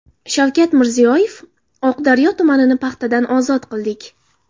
Shavkat Mirziyoyev: Oqdaryo tumanini paxtadan ozod qildik.